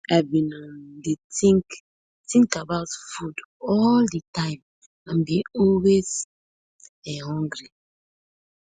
i bin um dey tink tink about food all di time and bin always um hungry